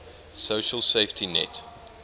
social safety net